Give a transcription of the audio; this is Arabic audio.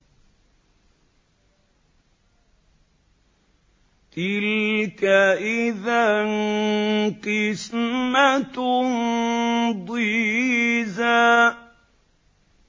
تِلْكَ إِذًا قِسْمَةٌ ضِيزَىٰ